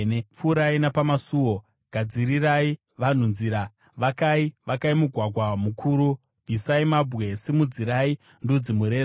Pfuurai, pfuurai napamasuo! Gadzirirai vanhu nzira. Vakai, vakai mugwagwa mukuru! Bvisai mabwe. Simudzirai ndudzi mureza.